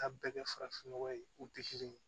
Ka bɛɛ kɛ farafinnɔgɔ ye u tɛ kelen ye